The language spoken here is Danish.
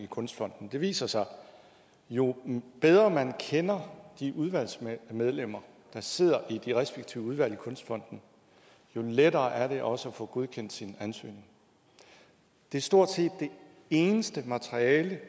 kunstfond det viser sig at jo bedre man kender de udvalgsmedlemmer der sidder i de respektive udvalg i kunstfonden jo lettere er det også at få godkendt sin ansøgning det er stort set det eneste materiale